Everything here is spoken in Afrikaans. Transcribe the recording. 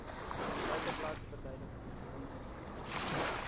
feiteblad verduidelik